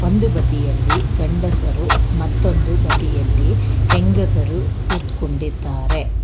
ಒಂದು ಬದಿಯಲ್ಲಿ ಗಂಡಸರು ಮತ್ತೊಂದು ಬದಿಯಲ್ಲಿ ಹೆಂಗಸರು ಕುತ್ಕೊಂಡಿದ್ದಾರೆ.